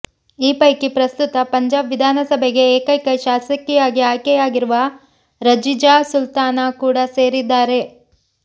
ಈ ಪೈಕಿ ಪ್ರಸ್ತುತ ಪಂಜಾಬ್ ವಿಧಾನಸಭೆಗೆ ಏಕೈಕ ಶಾಸಕಿಯಾಗಿ ಆಯ್ಕೆಯಾಗಿರುವ ರಝಿಯಾ ಸುಲ್ತಾನಾ ಕೂಡಾ ಸೇರಿದ್ದಾರೆ